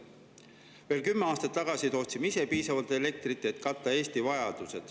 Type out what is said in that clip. Veel kümme aastat tagasi tootsime ise piisavalt elektrit, et katta Eesti vajadus.